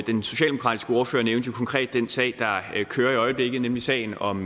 den socialdemokratiske ordfører nævnte jo konkret den sag der kører i øjeblikket nemlig sagen om